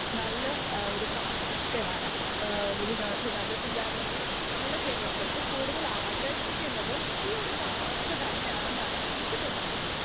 Speaker 2 നല്ല എഹ് ഒരു കാലാവസ്ഥയാണ് എഹ് വിനോ വിനോദ സഞ്ചാരികളെ നമ്മൾടെ കേരളത്തിലേക്ക് കൂടുതൽ ആകർഷിക്കുന്നതും ഈ ഒരു കാലാവസ്ഥ തന്നെയാണെന്നാണ് എനിക്ക് തോന്നുന്നത്.